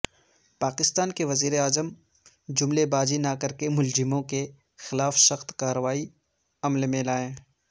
پاکستان کے وزیراعظم جملے بازی نہ کرکے ملزموں کے خلاف سخت کاروائی عمل میں لائیں